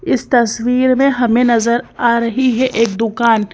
इस तस्वीर में हमें नजर आ रही है एक दुकान--